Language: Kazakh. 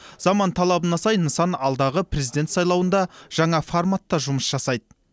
заман талабына сай нысан алдағы президент сайлауында жаңа форматта жұмыс жасайды